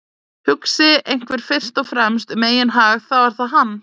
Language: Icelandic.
Hugsi einhver fyrst og fremst um eigin hag þá er það hann.